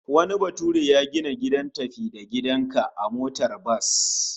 Wani bature ya gina gidan tafi-da-gidan-ka a motar bas